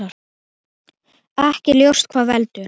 Ekki er ljóst hvað veldur.